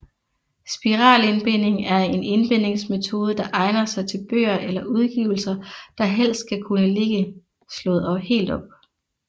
Spiralindbinding er en indbingsmetode der egner sig til bøger eller udgivelser der helst skal kunne ligge slået helt op